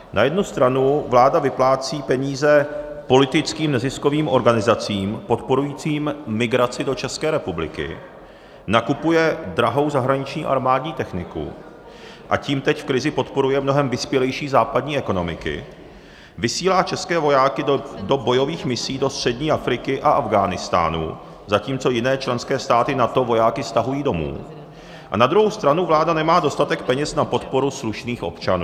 Na jednu stranu vláda vyplácí peníze politickým neziskovým organizacím podporujícím migraci do České republiky, nakupuje drahou zahraniční armádní techniku, a tím teď v krizi podporuje mnohem vyspělejší západní ekonomiky, vysílá české vojáky do bojových misí do střední Afriky a Afghánistánu, zatímco jiné členské státy NATO vojáky stahují domů, a na druhou stranu vláda nemá dostatek peněz na podporu slušných občanů.